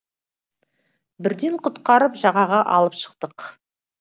бірден құтқарып жағаға алып шықтық